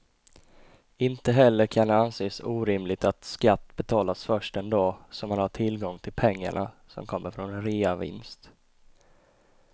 Inte heller kan det anses orimligt att skatt betalas först den dag som man har tillgång till pengarna som kommer från en reavinst.